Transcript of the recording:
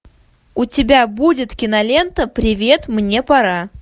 у тебя будет кинолента привет мне пора